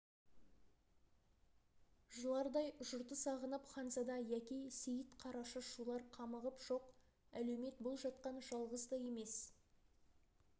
жылардай жұрты сағынып ханзада яки сейіт қарашы шулар қамығып жоқ әлеумет бұл жатқан жалғыз да емес